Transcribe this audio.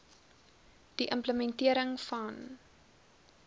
die implementering van